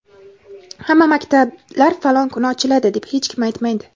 hamma maktablar falon kuni ochiladi deb hech kim aytmaydi!.